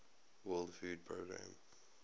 world food programme